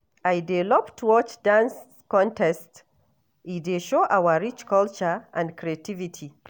I dey love to watch dance contests, e dey show our rich culture and creativity.